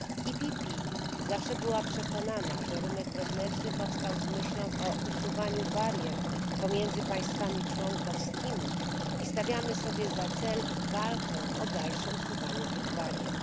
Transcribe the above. Grupa PPE zawsze była przekonana, że rynek wewnętrzny powstał z myślą o usuwaniu barier pomiędzy państwami członkowskimi i stawiamy sobie za cel walkę o dalsze usuwanie tych barier.